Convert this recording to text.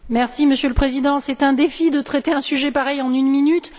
Monsieur le Président, c'est un défi de traiter un sujet pareil en une minute.